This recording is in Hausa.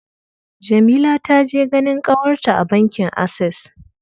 Jamila ta je ganin ƙawarta a bankin Ases.